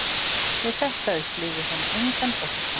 Við þetta upplifði hún engan ótta